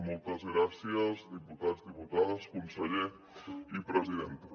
moltes gràcies diputats diputades conseller i presidenta